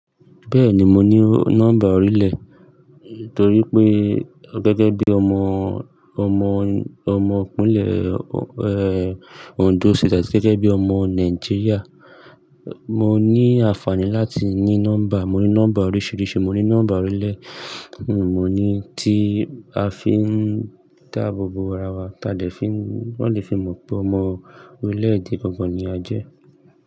Bẹ́ẹ̀ni, mo ní nọ́mbà orílè, torí pé gẹ́gẹ́ bí ọmọ, ọmọ, ọmọkùnlẹ̀, Ondo State, gẹ́gẹ́ bí ọmọ Nàìjíríà, mo ní àǹfààní láti ní nọ́mbà. Mo ní nọ́mbà oríṣìíríṣìí, mo ní nọ́mbà orílè, mo ní tí a fi ń dáàbò bo ara wa, táa lè fi, wọ́n lè fi mọ̀ pé ọmọ orílẹ̀-èdè gangán ni a jẹ́